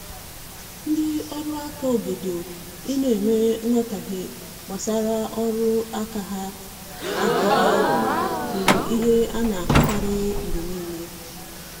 Ndị ọrụ aka obodo I na enwe nghotahie gbasara ọrụ aka ha aka ha bụ ihe ana ahụ karịa mgbe niile